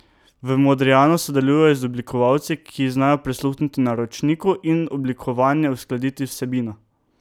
V Modrijanu sodelujejo z oblikovalci, ki znajo prisluhniti naročniku in oblikovanje uskladiti z vsebino.